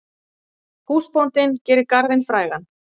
Húsbóndinn gerir garðinn frægan.